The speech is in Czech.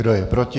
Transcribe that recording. Kdo je proti?